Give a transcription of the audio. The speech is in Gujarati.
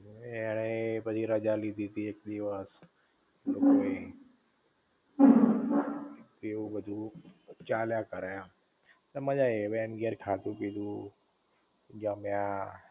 ને એણેય પછી રજા લીધી તી એક દિવસ એવું બધુ ચાલ્યા કરે એમ તે મજા આઈ એને ઘેર ખાધું પીધું જમ્યા